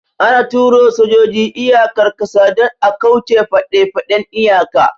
Ana tura sojoji iyakar ƙasa don a kauce faɗefaɗen iyaka